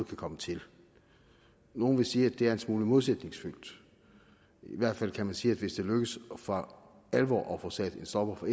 kan komme til nogle vil sige at det er en smule modsætningsfyldt i hvert fald kan man sige at hvis det lykkes for alvor at få sat en stopper for